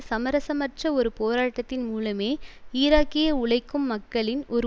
சமரசமற்ற ஒரு போராட்டத்தின் மூலமே ஈராக்கிய உழைக்கும் மக்களின் ஒரு